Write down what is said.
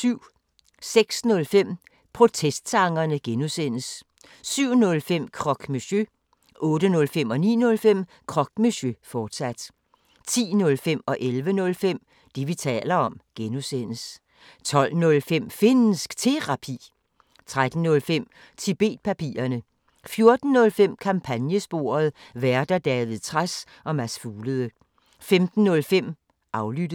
06:05: Protestsangerne (G) 07:05: Croque Monsieur 08:05: Croque Monsieur, fortsat 09:05: Croque Monsieur, fortsat 10:05: Det, vi taler om (G) 11:05: Det, vi taler om (G) 12:05: Finnsk Terapi 13:05: Tibet-papirerne 14:05: Kampagnesporet: Værter: David Trads og Mads Fuglede 15:05: Aflyttet